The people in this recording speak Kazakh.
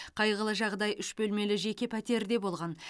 қайғылы жағдай үш бөлмелі жеке пәтерде болған